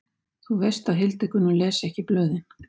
Þú veist að Hildigunnur les ekki blöðin.